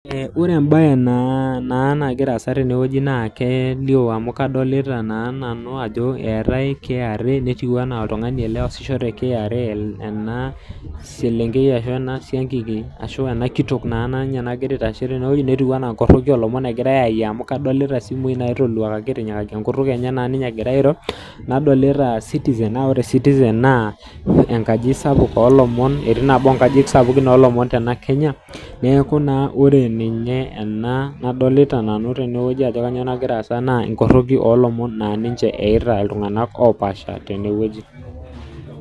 Ore ebae naa nagira aasa tene na kelio amu kadolitaa naa nanu eetae KRA netiu enaa oltung'ani ele loosisho te KRA ena selenkei ashu ene kitok naa nagira aitashe teneweji netiu anaa inkoroi oo lomon eigirai aitayu amu kadolita simui naitoluakaki enkutk enye egira naa ninye airo nadolita Citezen na ore Citizen naa enkaji sapuk oo lomon etii nabo oo nkajijik sapuk oo lomon teena Kenya neeku naa ore ninye ena nadolita nanu teneweji ajo kainyo nagira aasa naa inkoroki oo lomon naa ninche eita iltung'ana oshal teneweji.